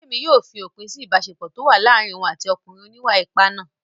Bídèmí yóò fi òpin sí ìbáṣepọ̀ tó wà láàárín òun àti ọkùnrin oníwà-ipá náà